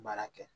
Baara kɛ